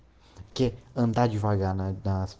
окей анталии вагана одна